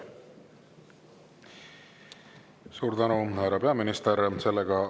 Suur tänu, härra peaminister!